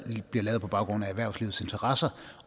lavet på baggrund af erhvervslivets interesser